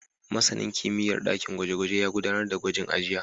Masanin kimiyyar ɗakin gwaje-gwaje ya gudanar da gwajin a jiya.